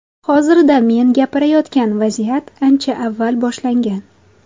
Hozirda men gapirayotgan vaziyat ancha avval boshlangan.